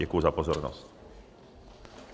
Děkuji za pozornost.